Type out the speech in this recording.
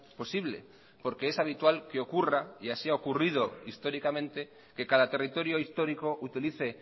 posible porque es habitual que ocurra y así ha ocurrido históricamente que cada territorio histórico utilice